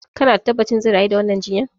Kana da tabbacin zai rayu da wannan jinyan?